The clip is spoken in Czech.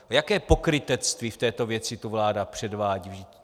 Jaké pokrytectví v této věci tu vláda předvádí?